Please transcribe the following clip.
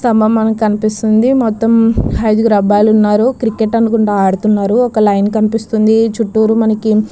స్తంబము మనకి కనిపిస్తోంది మొత్తం ఐదుగురు అబ్బాయిలు ఉన్నారు క్రికెట్ అనుకుంట ఆడుతున్నారు ఒక లైన్ కినిపిస్తోంది చుట్టు మనకి --